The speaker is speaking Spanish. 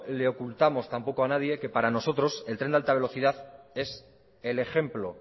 le ocultamos tampoco a nadie que para nosotros el tren de alta velocidad es el ejemplo